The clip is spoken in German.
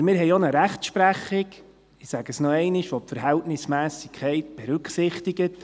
Aber wir haben auch eine Rechtsprechung – ich sage es noch einmal –, welche die Verhältnismässigkeit berücksichtigt.